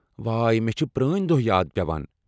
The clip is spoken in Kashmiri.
واے، مےٚ چھِ پرٛٲنۍ دۄہ یاد پٮ۪وان۔